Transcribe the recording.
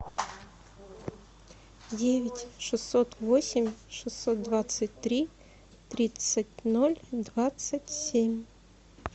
девять шестьсот восемь шестьсот двадцать три тридцать ноль двадцать семь